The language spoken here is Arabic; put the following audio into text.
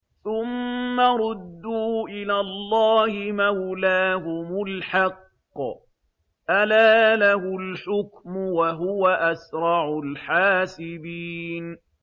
ثُمَّ رُدُّوا إِلَى اللَّهِ مَوْلَاهُمُ الْحَقِّ ۚ أَلَا لَهُ الْحُكْمُ وَهُوَ أَسْرَعُ الْحَاسِبِينَ